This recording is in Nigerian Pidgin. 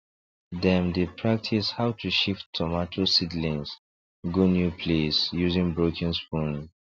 dem dey practise how to shift tomato seedlings go new place using broken spoon